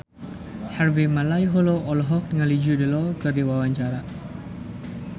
Harvey Malaiholo olohok ningali Jude Law keur diwawancara